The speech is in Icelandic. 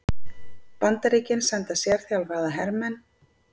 Bandaríkin senda sérþjálfaða hermenn